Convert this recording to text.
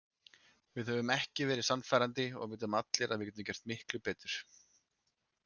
Við höfum ekki verið sannfærandi og við vitum allir að við getum gert miklu betur.